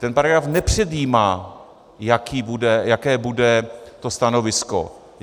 Ten paragraf nepředjímá, jaké bude to stanovisko.